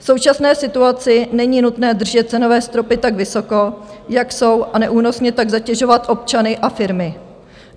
V současné situaci není nutné držet cenové stropy tak vysoko, jak jsou, a neúnosně tak zatěžovat občany a firmy.